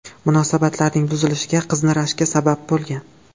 Munosabatlarning buzilishiga qizning rashki sabab bo‘lgan.